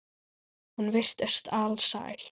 Hún virtist alsæl.